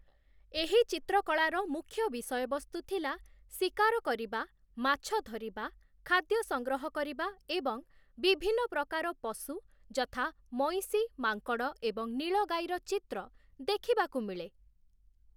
ଏହି ଚିତ୍ରକଳାର ମୁଖ୍ୟ ବିଷୟବସ୍ତୁ ଥିଲା, ଶିକାର କରିବା, ମାଛଧରିବା, ଖାଦ୍ୟ ସଂଗ୍ରହ କରିବା ଏବଂ ବିଭିନ୍ନ ପ୍ରକାର ପଶୁ ଯଥା ମଇଁଷି, ମାଙ୍କଡ଼ ଏବଂ ନୀଳଗାଈର ଚିତ୍ର ଦେଖିବାକୁ ମିଳେ ।